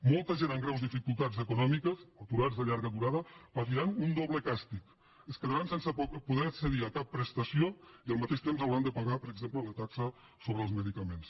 molta gent amb greus dificultats econòmiques o aturats de llarga durada patiran un doble càstig es quedaran sense poder accedir a cap prestació i al mateix temps hauran de pagar per exemple la taxa sobre els medicaments